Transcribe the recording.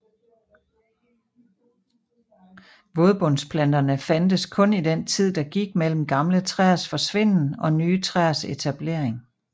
Vådbundsplanterne fandtes kun i den tid der gik mellem gamle træers forsvinden og nye træers etablering